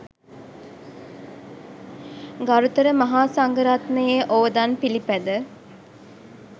ගරුතර මහා සංඝ රත්නයේ ඔවදන් පිළිපැද